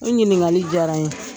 I ɲininkali diyara n ye .